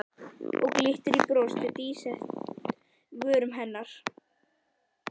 Og glittir í bros á dísæt um vörum hennar.